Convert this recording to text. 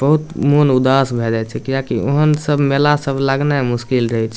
बहुत मन उदास भए जाय छै किया की ओहेन सब मेला सब लगने मुश्किल रहे छै।